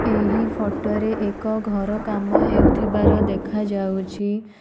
ଏହି ଫଟ ରେ ଏକ ଘର କାମ ହେଉଥିବାର ଦେଖାଯାଉଛି।